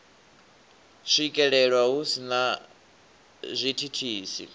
swikelelwa hu si na zwithithisi